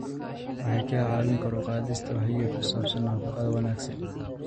Waxay caawiyaan kor u qaadista wacyiga ku saabsan nafaqada wanaagsan.